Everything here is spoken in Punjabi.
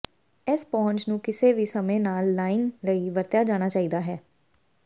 ਇਸ ਪਹੁੰਚ ਨੂੰ ਕਿਸੇ ਵੀ ਸਮੇਂ ਲਾਲ ਲਾਈਨ ਲਈ ਵਰਤਿਆ ਜਾਣਾ ਚਾਹੀਦਾ ਹੈ